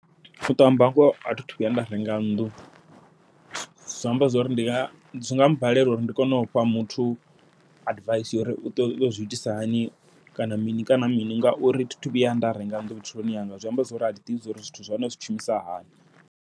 Uṱo amba ngoho athi thu vhuya nda renga nnḓu, zwi amba zwori ndi nga zwinga balela uri ndi kone u fha muthu advice ya uri uṱo zwi itisa hani, kana mini kana mini ngauri thi thu vhuya nda renga nnḓu vhutshiloni hanga, zwi amba zwori athi ḓivhi uri zwithu zwa hone zwi tshimbilisa hani.